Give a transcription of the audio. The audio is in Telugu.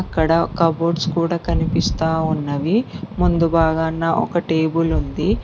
ఇక్కడ కబోర్డ్స్ కూడా కనిపిస్తా ఉన్నవి. ముందు భాగాన ఒక టేబుల్ ఉంది.